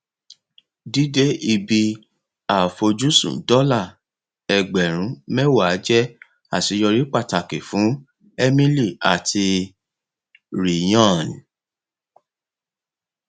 dídé ibi àfojúsùn dọlà ẹgbẹrún mẹwàá jẹ àṣeyọrí pàtàkì fún emily àti ryan